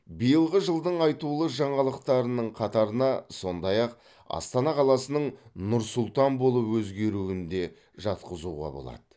биылғы жылдың айтулы жаңалықтарының қатарына сондай ақ астана қаласының нұр сұлтан болып өзгеруін де жатқызуға болады